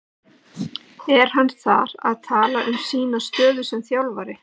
Er hann þar að tala um sína stöðu sem þjálfara?